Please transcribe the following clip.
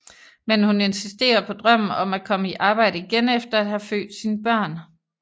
Men hun insisterer på drømmen om at komme i arbejde igen efter at have født sine børn